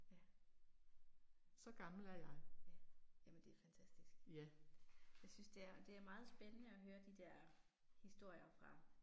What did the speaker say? Ja. Ja, jamen det er fantatisk. Jeg synes det er, det er meget spændende at høre de der historier fra